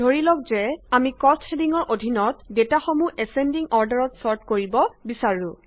ধৰিলওক যে আমি কষ্ট হেডিঙৰ অধীনত ডেটাসমূহ এছচেণ্ডিং অৰ্ডাৰত ছৰ্ট কৰিব বিছাৰো